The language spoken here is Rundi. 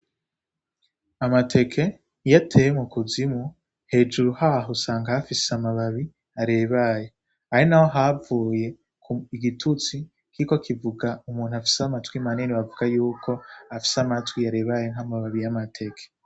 Amateke iyo ateye mu kuzimu hejuru haho usanka hafise amababi arebaye ari na ho havuye ku igitutsi kiko kivuga umuntu afise amatwi manini bavuga yuko afise amatwi yarebaye nk'amababi y'amateke.